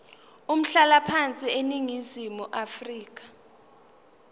umhlalaphansi eningizimu afrika